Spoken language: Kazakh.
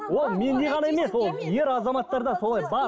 ол менде ғана емес ол ер азаматтарда солай бар